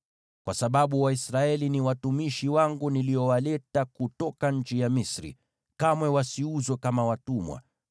Kwa sababu Waisraeli ni watumishi wangu niliowaleta kutoka nchi ya Misri, kamwe wasiuzwe kama watumwa.